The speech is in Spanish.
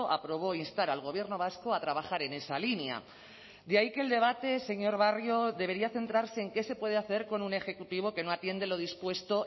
aprobó instar al gobierno vasco a trabajar en esa línea de ahí que el debate señor barrio debería centrarse en qué se puede hacer con un ejecutivo que no atiende lo dispuesto